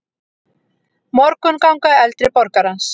Morgunganga eldri borgarans.